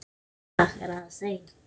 Í dag er aðeins ein.